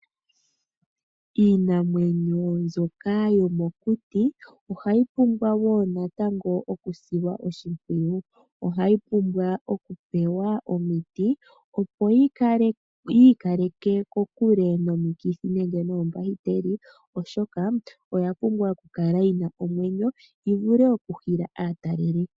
Iinamwenyo mbyoka yomokuti ohayi pumbwa woo natango okusilwa oshimpwiyu. Ohayi pumbwa okupewa omiti opo yi ikaleke kokule nomikithi nenge noombahiteli oshoka oya pumbwa okukala yi na omwenyo yi vule oku hila aataleli